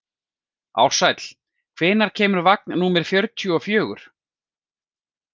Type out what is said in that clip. Ársæll, hvenær kemur vagn númer fjörutíu og fjögur?